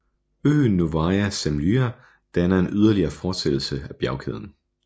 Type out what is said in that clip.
Øen Novaya Zemlya danner en yderligere fortsættelse af bjergkæden